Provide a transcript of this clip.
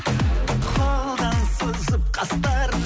қолдан сызып қастарын